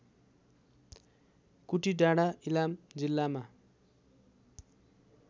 कुटिडाँडा इलाम जिल्लामा